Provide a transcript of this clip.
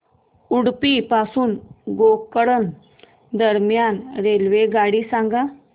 उडुपी पासून गोकर्ण दरम्यान रेल्वेगाडी सांगा